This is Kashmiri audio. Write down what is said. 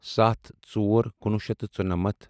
سَتھ ژور کُنوُہ شیٚتھ تہٕ ژُنَمَتھ